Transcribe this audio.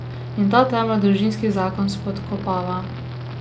In ta temelj družinski zakon spodkopava.